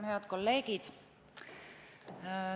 Head kolleegid!